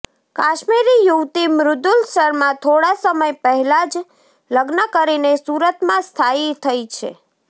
કાશ્મીરી યુવતી મૃદુલ શર્મા થોડા સમય પહેલા જ લગ્ન કરીને સુરતમાં સ્થાયી થઇ છે